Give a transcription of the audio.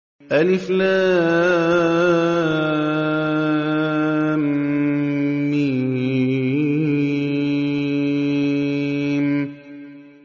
الم